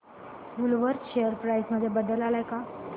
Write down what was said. Woolworth share price मध्ये बदल आलाय का